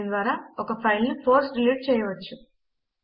దీని ద్వారా ఒక ఫైల్ ను ఫోర్స్ డిలీట్ చేయవచ్చు